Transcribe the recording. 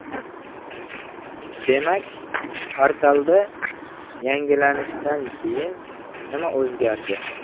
Demak, portalda yangilanishdan keyin nima o‘zgardi?